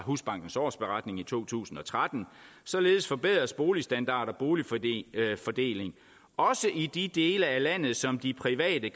husbankens årsberetning for 2013 således forbedres boligstandard og boligfordeling også i dele af landet som de private